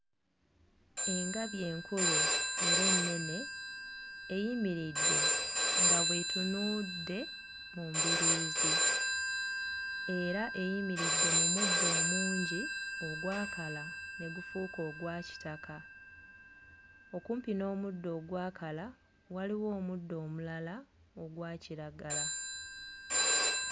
Engabi enkulu era ennene eyimiridde nga bw'etunuudde mu mbiriizi era eyimiridde mu muddo omungi ogwakala ne gufuuka ogwa kitaka. Okumpi n'omuddo ogwakala waliwo omuddo omulala ogwa kiragala.